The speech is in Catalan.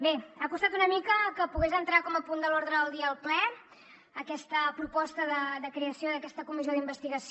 bé ha costat una mica que pogués entrar com a punt de l’ordre del dia al ple aquesta proposta de creació d’aquesta comissió d’investigació